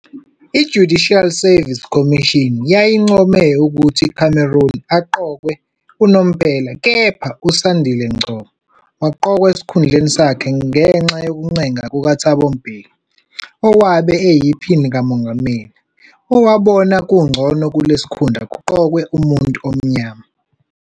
I-Judicial Service Commission yayincome ukuthi uCameron aqokwe unomphela, kepha uSandile Ngcobo waqokwa esikhundleni sakhe ngenxa yokuncenga kukaThabo Mbeki, owabe eyiPhini likaMongameli, owabona ukuthi kungcono kulesi sikhundla kuqokwe umuntu omnyama.